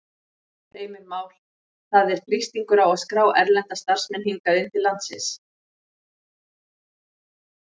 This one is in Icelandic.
Heimir Már: Það er þrýstingur á að skrá erlenda starfsmenn hingað inn til landsins?